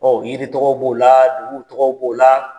Ɔn yiri tɔgɔw b'o la , dugu tɔgɔw b'o la